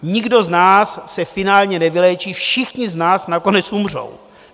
Nikdo z nás se finálně nevyléčí, všichni z nás nakonec umřou.